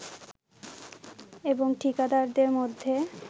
এবং ঠিকাদারদের মধ্যে